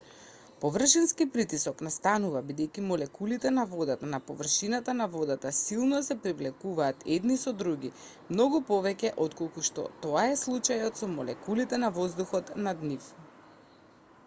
површински притисок настанува бидејќи молекулите на водата на површината на водата силно се привлекуваат едни со други многу повеќе отколку што е тоа случајот со молекулите на воздухот над нив